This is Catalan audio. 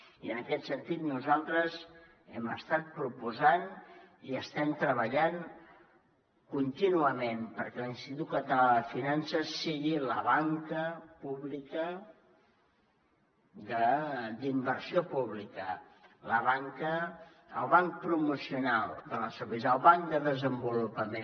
i en aquest sentit nosaltres hem estat proposant i estem treballant contínuament perquè l’institut català de finances sigui la banca pública d’inversió pública el banc promocional del nostre país el banc de desenvolupament